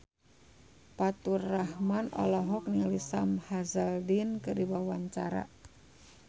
Faturrahman olohok ningali Sam Hazeldine keur diwawancara